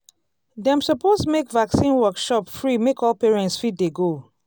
dem suppose make vaccine workshop free make all parents fit dey go.